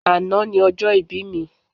Àná ni ọjọ́ ìbí mi